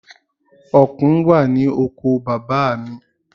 Ọ̀kùn wà ní oko bàbá à mi.